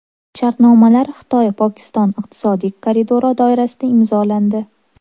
Shartnomalar Xitoy-Pokiston iqtisodiy koridori doirasida imzolandi.